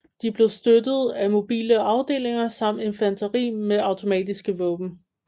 De blev støttet af mobile afdelinger samt infanteri med automatiske våben